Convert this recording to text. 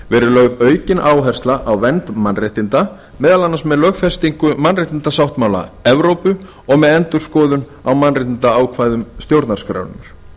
lögð aukin áhersla á vernd mannréttinda meðal annars með lögfestingu mannréttindasáttmála evrópu og með endurskoðun á mannréttindaákvæðum stjórnarskrárinnar